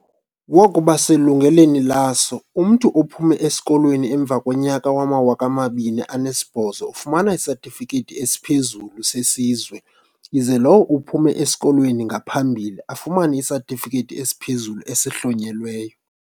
Wakuba selungelweni laso, umntu ophume esikolweni emva konyaka wowama-2008 ufumana iSatifikethi esiPhezulu seSizwe ize lowo uphume esikolweni ngaphambili, afumane iSatifikethi esiPhezulu esiHlonyelweyo.